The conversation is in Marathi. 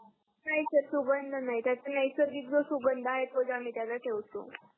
नाही सर सुंगध नाही त्याच्या नैसर्गिक जो सुंगध आहे तोच आम्ही त्याला ठेवतो